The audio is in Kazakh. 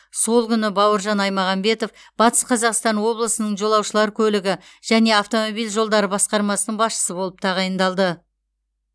сол күні бауыржан айтмағамбетов батыс қазақстан облысының жолаушылар көлігі және автомобиль жолдары басқармасының басшысы болып тағайындалды